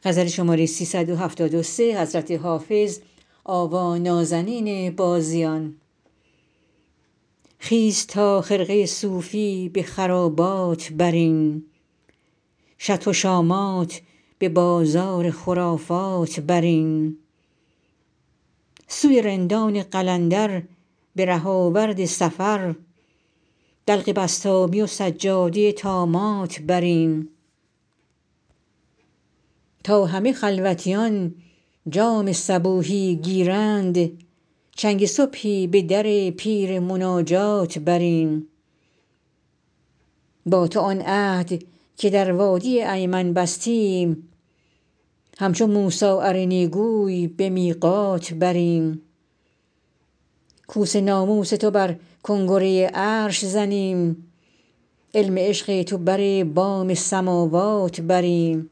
خیز تا خرقه صوفی به خرابات بریم شطح و طامات به بازار خرافات بریم سوی رندان قلندر به ره آورد سفر دلق بسطامی و سجاده طامات بریم تا همه خلوتیان جام صبوحی گیرند چنگ صبحی به در پیر مناجات بریم با تو آن عهد که در وادی ایمن بستیم همچو موسی ارنی گوی به میقات بریم کوس ناموس تو بر کنگره عرش زنیم علم عشق تو بر بام سماوات بریم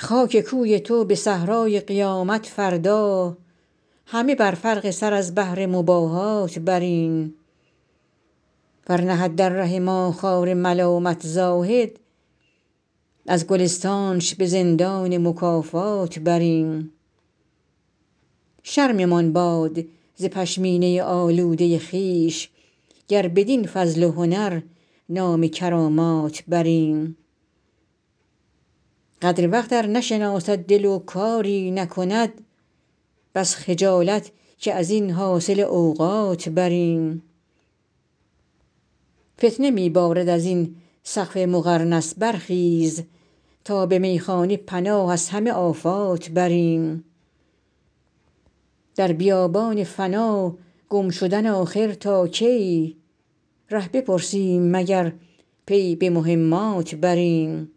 خاک کوی تو به صحرای قیامت فردا همه بر فرق سر از بهر مباهات بریم ور نهد در ره ما خار ملامت زاهد از گلستانش به زندان مکافات بریم شرممان باد ز پشمینه آلوده خویش گر بدین فضل و هنر نام کرامات بریم قدر وقت ار نشناسد دل و کاری نکند بس خجالت که از این حاصل اوقات بریم فتنه می بارد از این سقف مقرنس برخیز تا به میخانه پناه از همه آفات بریم در بیابان فنا گم شدن آخر تا کی ره بپرسیم مگر پی به مهمات بریم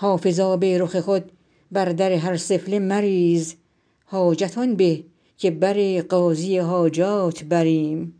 حافظ آب رخ خود بر در هر سفله مریز حاجت آن به که بر قاضی حاجات بریم